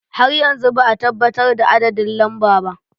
Har yanzu ba a tabbatar da adadin lamba ba.